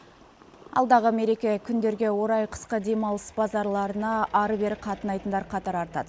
алдағы мереке күндерге орай қысқы демалыс базаларына әрі бері қатынайтындар қатары артады